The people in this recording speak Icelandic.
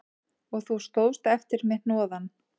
Og þú stóðst eftir með hnoðann